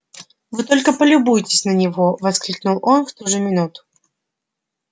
вы только полюбуйтесь на него воскликнул он в ту же минуту